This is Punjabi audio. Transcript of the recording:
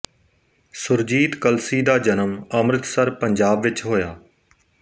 ਸੁਰਜੀਤ ਕਲਸੀ ਦਾ ਜਨਮ ਅੰਮ੍ਰਿਤਸਰ ਪੰਜਾਬ ਵਿਚ ਹੋਇਆ